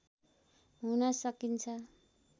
हुन सकिन्छ